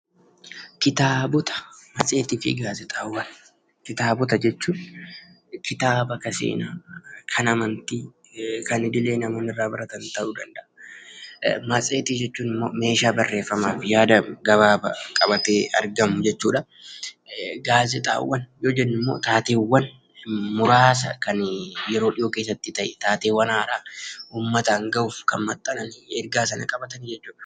Kitaabota jechuun kitaabota kan seenaa, kan amantii kan jireenya irraa baratan ta'uu danda'a. Matseetii jechuun immoo meeshaa barreeffamaa fi yaada gabaabaa qabatee argamu jechuudha. Gaazexaa yoo jennu immoo taateewwan muraasa kan yeroo dhiyoo keessatti ta'e taateewwan haaraa uummataan gahuuf kan maxxanan jechuudha.